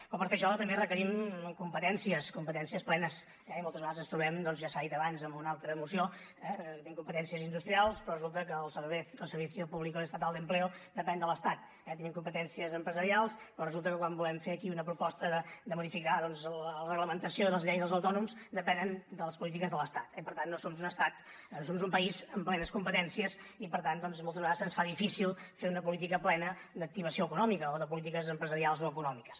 però per fer això també requerim competències competències plenes eh i moltes vegades ens trobem doncs ja s’ha dit abans en una altra moció que tenim competències industrials però resulta que el servicio público estatal de empleo depèn de l’estat eh tenim competències empresarials però resulta que quan volem fer aquí una proposta de modificar doncs la reglamentació i les lleis dels autònoms depenem de les polítiques de l’estat eh i per tant no som un estat no som un país amb plenes competències i per tant doncs moltes vegades se’ns fa difícil fer una política plena d’activació econòmica o de polítiques empresarials o econòmiques